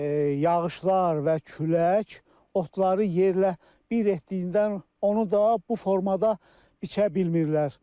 Yağışlar və külək otları yerlə bir etdiyindən onu da bu formada biçə bilmirlər.